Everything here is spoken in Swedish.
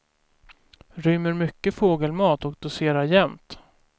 Rymmer mycket fågelmat och doserar jämnt.